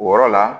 O yɔrɔ la